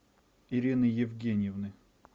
ирины евгеньевны